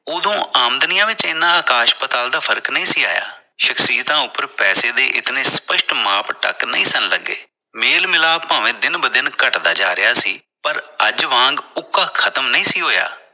ਉਦੋਂ ਆਮਦਨੀਆਂ ਵਿਚ ਇੰਨਾ ਆਕਾਸ਼ ਪਾਤਾਲ ਦਾ ਫਰਕ ਨਹੀ ਸੀ ਆਇਆ। ਸ਼ਕਸ਼ੀਅਤਾ ਉਪਰ ਪੈਸੇ ਦੇ ਇੰਨੇ ਸਪਸ਼ਟ ਮਾਪਦੰਡ ਨਹੀ ਸਨ ਲੱਗੇ ਮੇਲ ਮਿਲਾਪ ਭਾਵੇ ਦਿਨ ਬਦਿਨ ਘੱਟ ਦਾ ਜਾ ਰਿਹਾ ਸੀ ਪਰ ਅੱਜ ਵਾਂਗ ਉੱਕਾ ਖਤਮ ਨਹੀਂ ਸੀ ਹੋਇਆ।